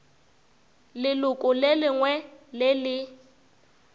leloko le lengwe le le